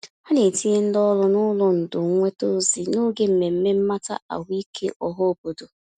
Ha na-etinye ndị ọrụ n'ụlọ ndò nnweta ozi n'oge mmemme mmata ahụike ọhaobodo.